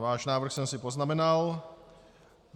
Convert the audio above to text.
Váš návrh jsem si poznamenal.